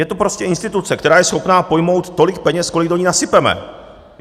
Je to prostě instituce, která je schopna pojmout tolik peněz, kolik do ní nasypeme.